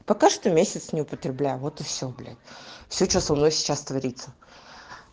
пока что месяц не употребляю вот и все блять все что со мной сейчас творится